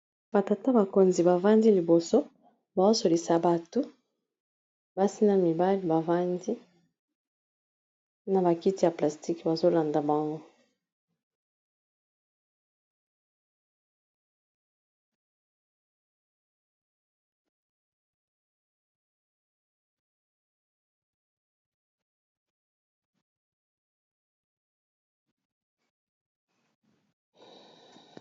Ba tata bakonzi bavandi liboso baosolisa bato basi na mibali bavandi na ba kiti ya plastique bazolanda bango.